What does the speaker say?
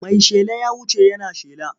Mai shela ya wuce yana shela.